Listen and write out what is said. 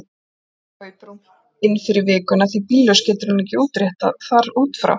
Þá kaupir hún inn fyrir vikuna því bíllaus getur hún ekkert útréttað þar út frá.